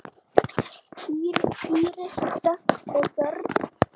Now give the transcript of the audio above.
Íris Dögg og börn.